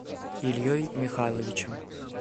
ильей михайловичем